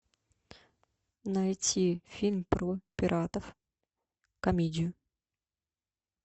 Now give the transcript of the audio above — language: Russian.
найти фильм про пиратов комедию